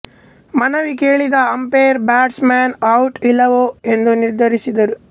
ಮನವಿ ಕೇಳಿದ umpire batsman ಔಟೋ ಇಲ್ಲವೋ ಎಂದು ನಿರ್ಧರಿಸುತ್ತಾರೆ